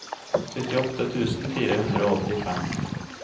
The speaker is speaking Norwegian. syttiåtte tusen fire hundre og åttifem